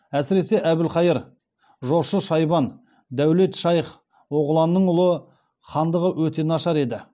әсіресе әбілхайыр жошы шайбан дәулет шайх оғланның ұлы хандығы өте нашар еді